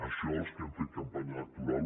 això els que hem fet campanya electoral